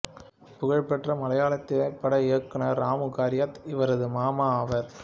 புகழ்பெற்ற மலையாள திரைப்பட இயக்குனர் ராமு கரியத் இவரது மாமா ஆவார்